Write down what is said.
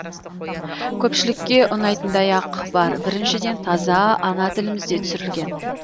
көпшілікке ұнайтындай ақ бар біріншіден таза ана тілімізде түсірілген